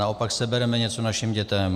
Naopak sebereme něco našim dětem.